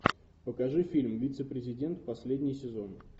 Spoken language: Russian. покажи фильм вице президент последний сезон